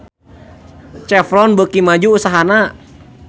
Chevron beuki maju usahana